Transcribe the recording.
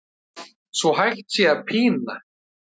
svo hægt sé að pína